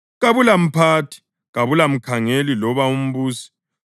Kabulamphathi, kabula mkhangeli loba umbusi,